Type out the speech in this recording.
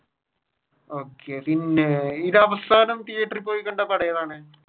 okay പിന്നെ അവസാനം തീയേറ്ററിൽ പോയി കണ്ട പടം ഏതാണ്?